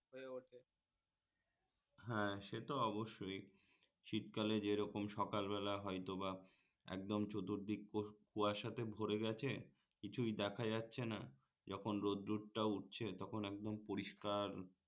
হ্যাঁ সে তো অবশ্যই শীতকালে যেরকম সকালবেলা হয়তোবা একদম চতুর্দিক কুয়াশাতে ভোরে গেছে কিছুই দেখা যাচ্ছে না যখন রোদ্দুরটা উঠছে তখন একদম পরিষ্কার